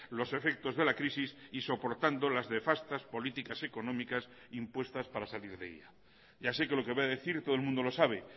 los efectos de la crisis y soportando las nefastas políticas económicas impuestas para salir de ella ya sé que lo que voy a decir todo el mundo lo sabe